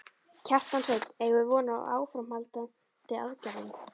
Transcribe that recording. Kjartan Hreinn: Eigum við von á áframhaldandi aðgerðum?